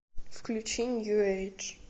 включи нью эйдж